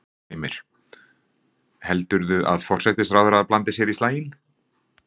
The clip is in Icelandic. Heimir: Heldurðu að forsætisráðherra blandi sér í slaginn?